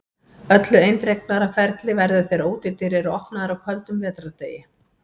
Öllu eindregnara ferli verður þegar útidyr eru opnaðar á köldum vetrardegi.